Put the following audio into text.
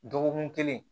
Dɔgɔkun kelen